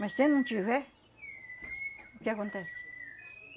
Mas se não tiver, o que acontece?